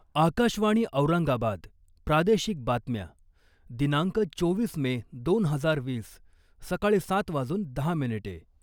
आकाशवाणी औरंगाबाद प्रादेशिक बातम्या दिनांक चोवीस मे दोन हजार वीस सकाळी सात वाजून दहा मिनिटे.